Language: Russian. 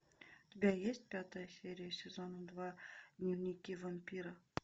у тебя есть пятая серия сезона два дневники вампира